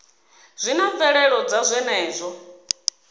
zwi na mvelelo dza zwenezwo